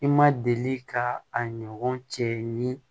I ma deli ka a ɲɔgɔn cɛ ni